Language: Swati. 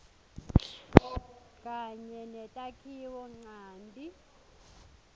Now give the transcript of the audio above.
kanye netakhiwo ncanti